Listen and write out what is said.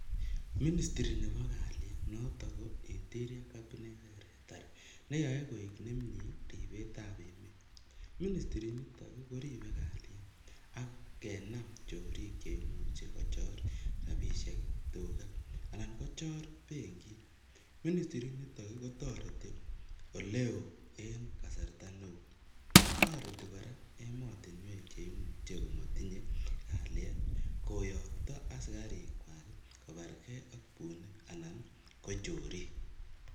Ministiri nebo kaliet noto ko interior cabinet secretary neyoe koik nemnye ribetab emet, ministiri niton koribe kaliet ak kenam chorik cheimuche kochor rabishek, tukaa anan kochor benkit, ministirit niton kotoreti olewoo en kasarta neuui, toreti kora emotinwek cheimuche komotinye kaliet koyokto asikarikwak kobarkee ak bunik anan ko chorik.